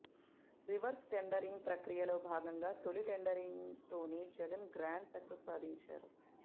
reverse tendering ప్రక్రియలో భాగంగా తొలి టెండరింగ్ తోనే జగన్ గ్రాండ్ సక్సెస్ సాధించారు